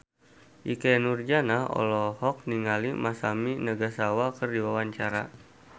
Ikke Nurjanah olohok ningali Masami Nagasawa keur diwawancara